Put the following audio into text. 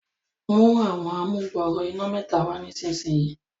mú Àwọn amugbooro iná mẹta wá nísìsiyìí.